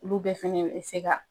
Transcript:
Olu bɛɛ fɛnkɛ bɛ se ka.